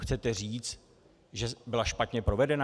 Chcete říct, že byla špatně provedena?